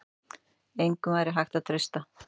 Engum væri hægt að treysta.